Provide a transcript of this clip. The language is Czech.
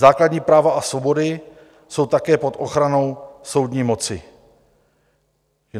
Základní práva a svobody jsou také pod ochranou soudní moci.